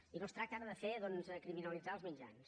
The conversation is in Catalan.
i no es tracta ara de fer doncs de criminalitzar els mitjans